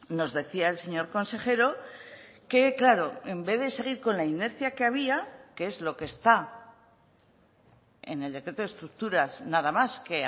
nos decía el señor consejero que claro en vez de seguir con la inercia que había que es lo que está en el decreto de estructuras nada más que